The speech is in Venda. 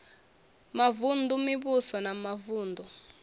mavun ḓu mivhuso ya mavuṋdu